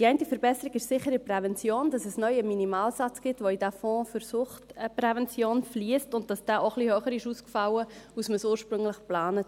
Die eine Verbesserung ist sicher in der Prävention, dass es neu einen Minimalsatz gibt, der in diesen Fonds für Suchtprävention fliesst, und dass dieser etwas höher ausgefallen ist als ursprünglich geplant.